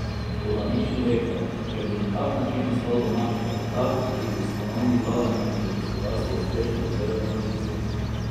Toda nič ne bi rekel, če bi na tak način nastal domači kapital, ki bi s ponovnim vlaganjem v gospodarstvo uspešno izvedel tranzicijo.